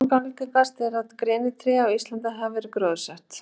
langalgengast er að grenitré á íslandi hafi verið gróðursett